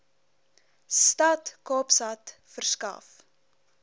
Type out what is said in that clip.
stad kaapstad verskaf